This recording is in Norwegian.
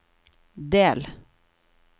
del